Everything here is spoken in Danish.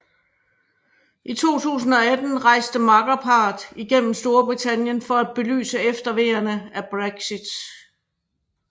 I 2018 rejste makkerparret igennem Storbritannien for at belyse efterveerne af Brexit